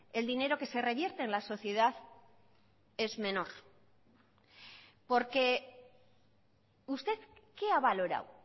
el dinero que se revierte en la sociedad es menor porque usted qué ha valorado